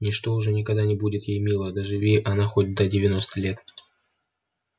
ничто уже никогда не будет ей мило доживи она хоть до девяноста лет